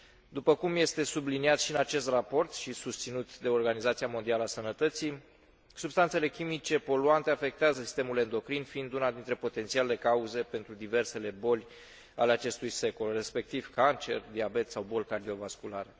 După cum este subliniat și în acest raport și susținut de Organizația Mondială a Sănătății, substanțele chimice poluante afectează sistemul endocrin, fiind una dintre potențialele cauze pentru diversele boli ale acestui secol, respectiv cancerul, diabetul sau bolile cardiovasculare.